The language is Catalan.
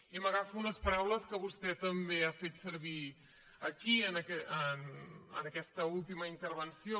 i m’agafo a unes paraules que vostè també ha fet servir aquí en aquesta última intervenció